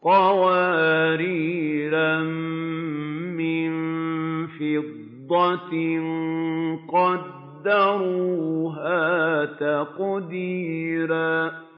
قَوَارِيرَ مِن فِضَّةٍ قَدَّرُوهَا تَقْدِيرًا